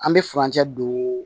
An bɛ furancɛ don